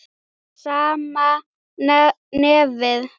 Sama nefið.